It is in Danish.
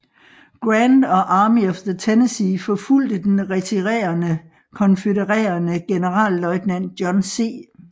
Grant og Army of the Tennessee forfulgte den retirerende konfødererede generalløjtnant John C